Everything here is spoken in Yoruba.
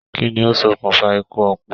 Kínní o sọkún fa ikú ọpọ?